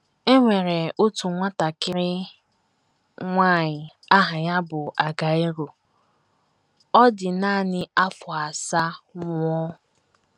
E NWERE otu nwatakịrị nwanyị aha ya bụ Argyro. Ọ dị nanị afọ asaa nwụọ.